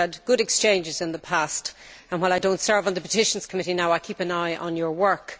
we have had good exchanges in the past and, while I do not serve on the Petitions Committee now, I keep an eye on his work.